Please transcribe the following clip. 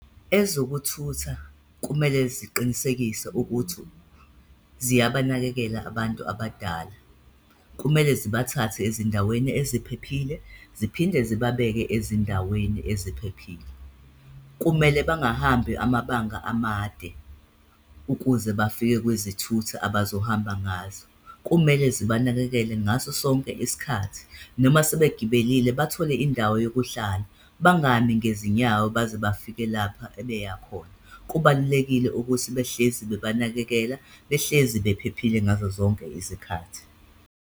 Ezokuthutha kumele ziqinisekise ukuthi ziyabanakekela abantu abadala. Kumele zibathathe ezindaweni eziphephile ziphinde zibabeke ezindaweni eziphephile. Kumele bangahambi amabanga amade ukuze bafike kwizithuthi abazohamba ngazo, kumele zibanakekele ngaso sonke isikhathi, noma sebegibelile, bathole indawo yokuhlala, bangami ngezinyawo baze bafike lapha ebeya khona. Kubalulekile ukuthi behlezi bebanakekela, behlezi bephephile ngazozonke izikhathi.